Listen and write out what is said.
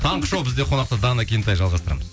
таңғы шоу бізде қонақта дана кентай жалғастырамыз